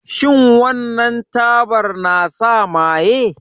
Shin wannan tabar na sa maye?